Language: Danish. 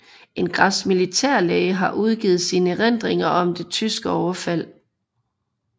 En græsk militærlæge har udgivet sine erindringer om det tyske overfald